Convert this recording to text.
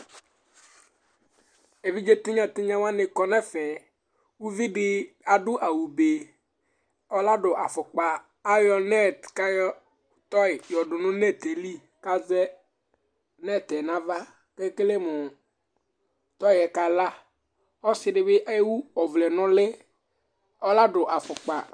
Evidze tɩnya tɩnya wanɩ kɔ nʋ ɛfɛ Uvi dɩ adʋ awʋbe, ɔnadʋ afʋkpa Ayɔ nɛt kʋ ayɔ tɔy yɔdʋ nʋ nɛt yɛ li kʋ azɛ nɛt yɛ nʋ ava Ekele mʋ tɔy yɛ kala Ɔsɩ dɩ bɩ ewu ɔvlɛ nʋ ʋlɩ, ɔnadʋ afʋkpa